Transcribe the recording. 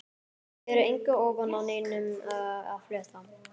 Hér er engu ofan af neinum að fletta.